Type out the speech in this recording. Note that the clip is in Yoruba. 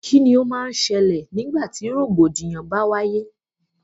Kíni o má n ṣẹlẹ̀ nígbà tí rògbòdìyàn bá wáyé?